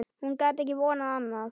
Hún gat ekki vonað annað.